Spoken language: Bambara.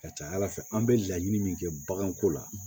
Ka ca ala fɛ an bɛ laɲini min kɛ baganko la